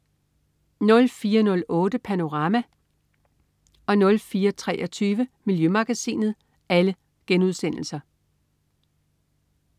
04.08 Panorama* 04.23 Miljømagasinet*